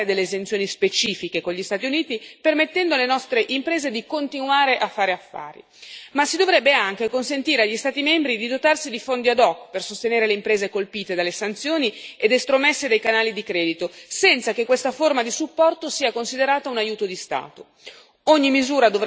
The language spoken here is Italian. L'Unione dovrebbe negoziare delle esenzioni specifiche con gli Stati Uniti, permettendo alle nostre imprese di continuare a fare affari, ma si dovrebbe anche consentire agli Stati membri di dotarsi di fondi ad hoc per sostenere le imprese colpite dalle sanzioni ed estromesse dai canali di credito, senza che questa forma di supporto sia considerata un aiuto di Stato.